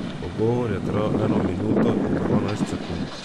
Pogovor je trajal eno minuto in dvanajst sekund.